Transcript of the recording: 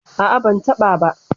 A'a, ban taɓa ba.